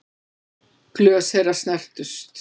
Glös þeirra snertust.